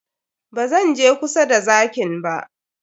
Ba zan je kusa da zakin ba.